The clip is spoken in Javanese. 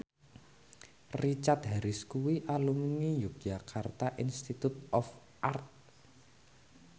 Richard Harris kuwi alumni Yogyakarta Institute of Art